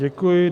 Děkuji.